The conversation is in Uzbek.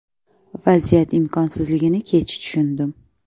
Vaziyat imkonsizligini kech tushundim”.